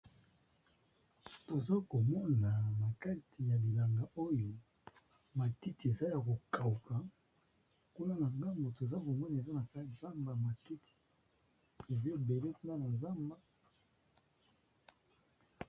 tozakomona nakati ya bilanga oyo matiti eza ya kokawuka kuna na gambo toza komona eza na ka zamba matiti ezebele kuna na nzamba